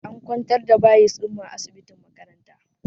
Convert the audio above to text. An kwantar da bayis ɗinmu a asibitin makaranta